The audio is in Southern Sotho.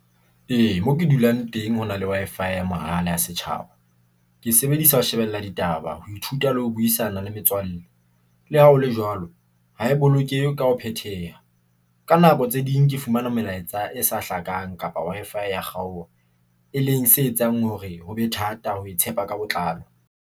Ee, mo ke dulang teng hona le Wi-Fi ya mahala ya setjhaba. Ke sebedisa ho shebella ditaba, ho ithuta le ho buisana le metswalle. Le ha hole jwalo, ha e bolokehe ka ho phetheha. Ka nako tse ding ke fumana melaetsa e sa hlakang kapa Wi-Fi ya kgaoha, e leng se etsang hore hobe thata ho tshepa ka botlalo.